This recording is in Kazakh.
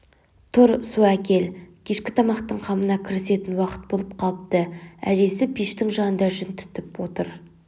тұр су әкел кешкі тамақтың қамына кірісетін уақыт болып қалыпты әжесі пештің жанында жүн түтіп отыр